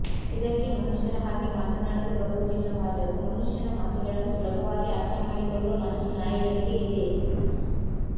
ಇದಕ್ಕೆ ಮನುಷ್ಯರ ಹಾಗೆ ಮಾತನಾಡಲು ಬರುವುದಿಲ್ಲವಾದರು ಮನುಷ್ಯನ ಮಾತುಗಳನ್ನು ಸುಲಭವಾಗಿ ಅರ್ಥ ಮಾಡಿಕೊಳ್ಳುವ ಮನಸ್ಸು ನಾಯಿಗಳಿಗೆ ಇದೆ